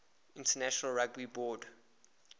international rugby board